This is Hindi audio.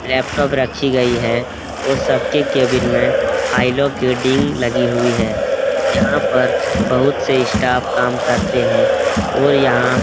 लैपटॉप रखी गई है और सब के केबिन में डींग लगी हुई है यहाँ पर बहुत से स्टाफ काम करते हैं और यहाँ --